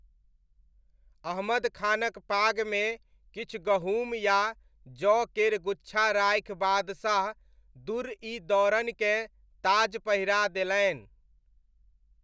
अहमद खानक पागमे किछु गहूम या जौ केर गुच्छा राखि बादशाह, दुर्र इ दौरनकेँ ताज पहिरा देलनि।